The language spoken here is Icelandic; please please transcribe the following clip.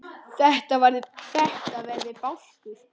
Þetta verði bálkur.